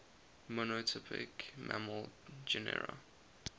monotypic mammal genera